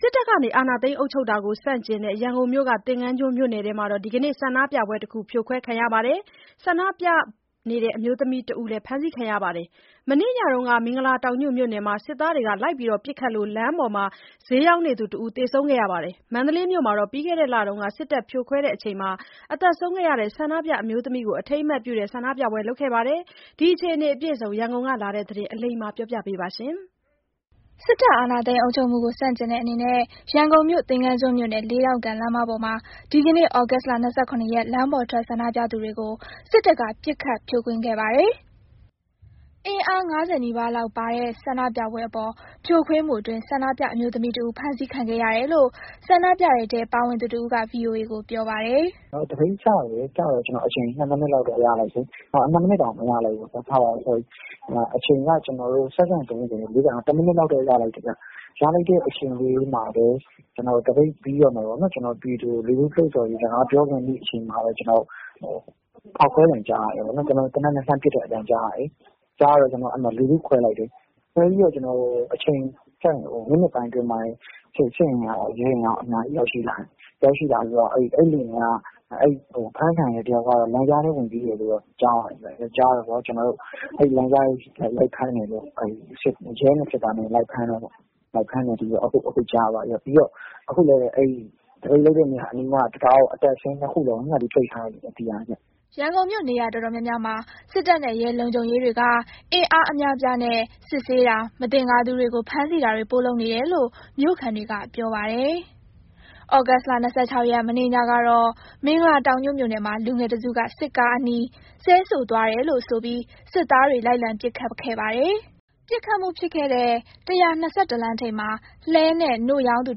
စစ်တပ်က အာဏာသိမ်း အုပ်ချုပ်တာကိုဆန့်ကျင်တဲ့ ရန်ကုန်မြို့ သင်္ဃန်းကျွန်းမြို့နယ်ထဲက ဒီကနေ့ဆန္ဒပြပွဲတခု ဖြိုခွဲခံရပြီး ဆန္ဒပြအမျိုးသမီး ၁ ယောက်ဖမ်းဆီးခံရပါတယ်။ မနေ့ညကတော့ မင်္ဂလာတောင်ညွန့်မြို့နယ်မှာ စစ်သားတွေပစ်ခတ်လို့ လမ်းမှာ ဈေးရောင်းနေသူတဦး သေဆုံးခဲ့ပါတယ်။ မန္တလေးမြို့မှာတော့ ပြီးခဲ့တဲ့လက စစ်တပ်ဖြိုခွဲစဉ် သေဆုံးခဲ့သူ ဆန္ဒပြ အမျိုးသမီးကို အထိမ်းအမှတ်ပြုတဲ့ ဆန္ဒပြပွဲလုပ်ခဲ့ပါတယ်။ ဒီအခြေအနေတွေ အပြည့်အစုံ ရန်ကုန်ကလာတဲ့သတင်းကို အလိမ္မာက ပြောပြပါမယ်။ စစ်တပ်အာဏာသိမ်းအုပ်ချုပ်နေမှုကို ဆန့်ကျင်တဲ့အနေနဲ့ ရန်ကုန်မြို့ သင်္ဃန်းကျွန်းမြို့နယ် လေးဒေါင့်ကန် လမ်းမပေါ်မှာ ဒီနေ့ သြဂုတ်လ ၂၇ ရက် လမ်းပေါ်ထွက် ဆန္ဒပြသူတွေကို စစ်တပ်က ပစ်ခတ်ဖြိုခွဲခဲ့ပါတယ်။ အင်အား ၅၀ နီးပါးလောက်ပါတဲ့ ဆန္ဒပြပွဲအပေါ်ဖြိုခွင်းမှုအတွင်း ဆန္ဒပြအမျိုးသမီးတဦး ဖမ်းဆီးခံခဲ့ရတယ်လို့ ဆန္ဒပြတဲ့ထဲ ပါဝင်သူတဦးက VOA ကို ပြောပါတယ်။ “ကျနော်တို့ သပိတ်စတယ် စတော့ အချိန် ၂ မိနစ်၊ တမိနစ်လောက်တော့ ရလိုက်တယ်။ ရလိုက်တဲ့ အချိန်လေးမှာပဲ သပိတ်ပြီးတော့မယ်၊ ပြည်သူတွေကို လှုံဆော်ရေးစကား ပြောတော့မယ့်အချိန်မှာပဲ ကျနော်တို့ ဖောက်ခွဲသံ၊ သေနတ်နဲ့လှမ်းပစ်တဲ့အသံကြားရတယ်။ အဲ့မှာပဲ ကျနော်တို့ လူစုခွဲလိုက်တယ်။ ခွဲပြီးတော့ ကျနော်တို့ အချိန် မိနစ်ပိုင်းအတွင်းမှာတင် စစ်အင်အားရော၊ ရဲအင်အားရော အများကြီး ရောက်လာတယ်။ အဲ့ဒီ ဖမ်းခံရတဲ့ တယောက်က လမ်းကြားထဲကို ဝင်ပြေးတယ်လို့ ကြားတယ်။ အဲ့လမ်းကြားထဲကို ရဲနဲ့ စစ်သားနဲ့ ဝိုင်းဖမ်းတာပေါ့။ အခုလည်း သပိတ်လုပ်တဲ့ နေရာအနီးက တံတားကို အတက်ရော အဆင်းရော ညှပ်ပြီး ပိတ်ထားလိုက်ပြီဗျ၊ အင်အားအများကြီးနဲ့။” ရန်ကုန်မြို့ နေရာတော်တော်များများမှာ စစ်တပ်နဲ့ ရဲလုံခြုံရေးတွေက အင်အားအများအပြားနဲ့ စစ်ဆေးတာ၊ မသင်္ကာသူတွေကို ဖမ်းဆီးတာတွေ ပိုလုပ်နေတယ်လို့မြို့ခံတွေက ပြောပါတယ်။ သြဂုတ်လ ၂၆ ရက် မနေ့ညကတော့ မင်္ဂလာတောင်ညွန့်မြို့နယ်မှာ လူငယ်တစုက စစ်ကားအနီး ဆဲဆိုသွားတယ်လို့ဆိုပြီး စစ်သားတွေ လိုက်လံပစ်ခတ်ခဲ့ပါတယ်။ ပစ်ခတ်မှုဖြစ်ခဲ့တဲ့ ၁၂၁ လမ်းထိပ်မှာ လှည်းနဲ့ နို့ရောင်းသူ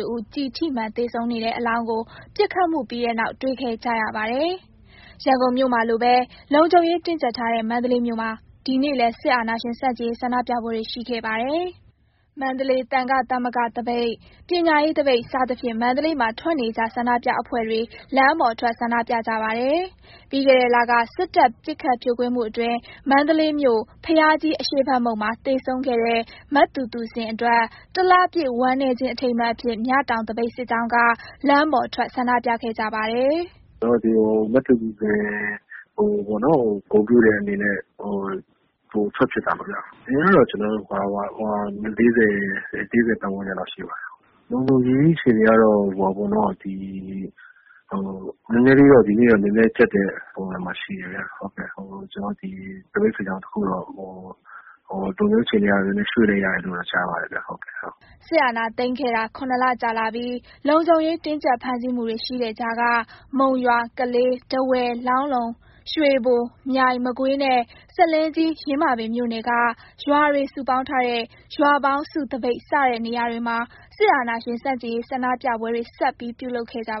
တဦး ကျည်ထိမှန်သေဆုံးနေတဲ့အလောင်းကို ပစ်ခတ်မှုပြီးတဲ့နောက် တေ့ွခဲ့ကြပါတယ်။ ရန်ကုန်မြို့မှာလိုပဲ လုံခြုံရေးတင်းကြပ်ထားတဲ့ မန္တလေးမြို့မှာ ဒီနေ့လည်း စစ်အာဏာရှင်ဆန့်ကျင်ရေး ဆန္ဒပြပွဲတွေရှိခဲ့ပါတယ်။ မန္တလေး သံဃာ့သမဂ္ဂသပိတ်၊ ပညာရေးသပိတ် စသဖြင့် မန္တလေးမှာ ထွက်နေကြ ဆန္ဒပြအဖွဲ့တွေ လမ်းပေါ်ထွက်ဆန္ဒပြကြပါတယ်။ ပြီးခဲ့တဲ့လက စစ်တပ်ပစ်ခတ် ဖြိုခွဲမှုအတွင်း မန္တလေးမြို့ ဘုရားကြီး အရှေ့ဖက်မုဒ်မှာ သေဆုံးခဲ့တဲ့ မသူသူဇင်အတွက် တလပြည့် ဝမ်းနည်းခြင်း အထိမ်းအမှတ်အဖြစ် မြတောင်သပိတ်စစ်ကြောင်းက လမ်းပေါ်ထွက်ဆန္ဒပြခဲ့ကြပါတယ်။ “ဒီနေ့က ကျွန်တော်တို့ မသူသူဇင်ကို ဂုဏ်ပြုတဲ့အနေနဲ့ ထွက်ဖြစ်တာပါခင်ဗျ။ အင်အားကတော့ ၄၀၊ ၄၀ ပတ်ဝန်းကျင်လောက်ရှိပါတယ်။ လုံခြုံရေးအခြေအနေကတော့ ဒီနေ့က နည်းနည်းကြပ်တဲ့ အခြေအနေမှာ ရှိတယ်ဗျ။ သပိတ်စစ်ကြောင်းတခုက လုံခြုံရေး အခြေအနေအရ ရွှေ့လိုက်ရတယ်လို့တော့ ကြားပါတယ်ဗျ။” စစ်အာဏာသိမ်းခဲ့တာ ၇ လကြာလာပြီး လုံခြုံရေးတင်းကြပ် ဖမ်းဆီးမှုတွေ ရှိတဲ့ကြားက မုံရွာ၊ ကလေး၊ ထားဝယ်၊ လောင်းလုံ၊ ရွေဘို၊ မြိုင်၊ မကွေးနဲ့ ဆားလင်းကြီး ယင်းမာပင်မြို့နယ်က ရွာတွေ စုပေါင်းထားတဲ့ ရွာပေါင်းစုသပိတ် စတဲ့နေရာတွေမှာ စစ်အာဏာရှင် ဆန့်ကျင်ရေး ဆန္ဒပြပွဲတွေ ဆက်ပြီး ပြုလုပ်ခဲ့ကြပါ